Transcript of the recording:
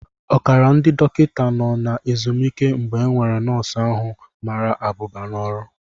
Ọkara ndị dọkịta nọ na ezumike mgbe enwere nọọsụ ahu mara abụba n'ọrụ